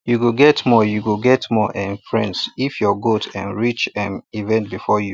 you go get more go get more um friends if your goats um reach um event before you